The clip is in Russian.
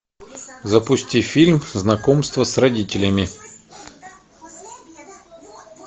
запусти фильм знакомство с родителями